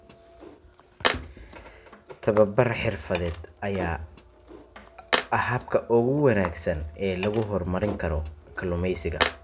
Tababar xirfadeed ayaa ah habka ugu wanaagsan ee lagu horumarin karo kalluumeysiga.